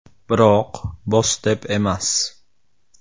Biroq, “Boss” deb emas.